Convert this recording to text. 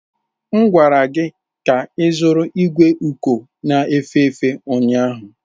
M gwara gị ka ịzụrụ igwe uko na-efe efe ụnyahụ!